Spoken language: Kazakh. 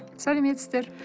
сәлеметсіздер